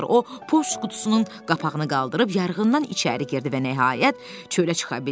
O Pux qutusunun qapağını qaldırıb yarığından içəri girdi və nəhayət çölə çıxa bildi.